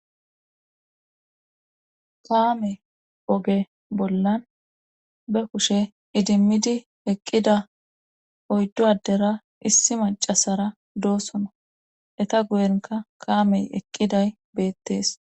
Kaame oge bolla be kushe idimmidi eqqida oyddu addera issi maccasara doosona eta guyenkka kaamey eqqiday beettees.